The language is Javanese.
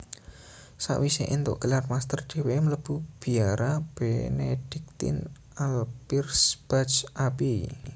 Sakwisé éntuk gelar master déwéké mlebu biara Benediktin Alpirsbach Abbey